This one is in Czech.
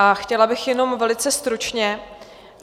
A chtěla bych jenom velice stručně.